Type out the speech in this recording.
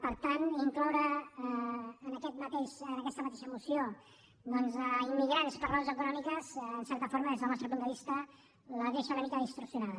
per tant incloure en aquesta mateixa moció immigrants per raons econòmiques en certa forma des del nostre punt de vista la deixa una mica distorsionada